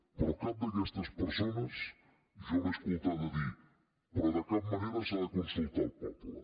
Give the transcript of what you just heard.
però cap d’aquestes persones jo l’he escoltada dir però de cap manera s’ha de consultar el poble